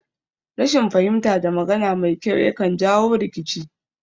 Rashin fahimta da magana mai kyau yakan jawo rikici